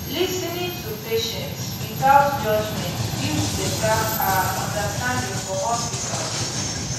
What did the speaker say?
lis ten ing to patients without judgment builds betta ah understanding for hospitals